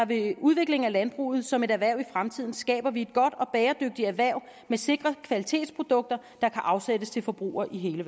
vil udvikling af landbruget som et erhverv i fremtiden skaber vi et godt og bæredygtigt erhverv med sikre kvalitetsprodukter der kan afsættes til forbrugere i hele